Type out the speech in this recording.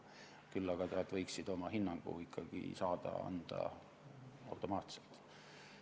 Küll aga võiksid nad saada oma hinnangut ikkagi automaatselt anda.